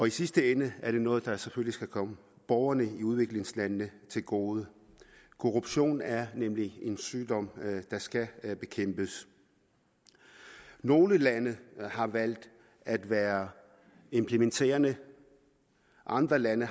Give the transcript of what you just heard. i sidste ende er det noget der selvfølgelig skal komme borgerne i udviklingslandene til gode korruption er nemlig en sygdom der skal bekæmpes nogle lande har valgt at være implementerende andre lande